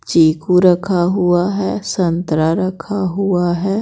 चीकू रखा हुआ है संतरा रखा हुआ है।